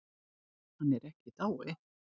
Hann er ekki í dái.